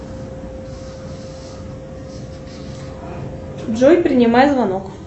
джой принимай звонок